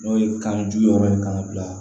N'o ye kan ju yɛrɛ ye kan ka bila